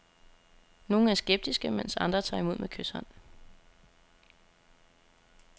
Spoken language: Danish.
Nogle er skeptiske, mens andre tager imod med kyshånd.